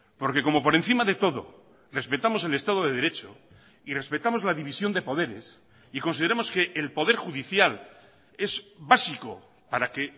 porque como por encima de todo respetamos el estado de derecho y respetamos la división de poderes y consideramos que el poder judicial es básico para que